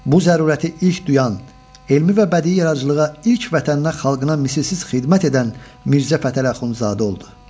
Bu zərurəti ilk duyan, elmi və bədii yaradıcılığa ilk vətəninə, xalqına misilsiz xidmət edən Mirzə Fətəli Axundzadə oldu.